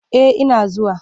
Eh ina zuwa.